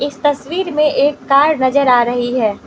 इस तस्वीर में एक कार नजर आ रही है।